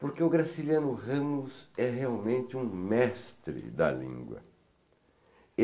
Porque o Graciliano Ramos é realmente um mestre da língua.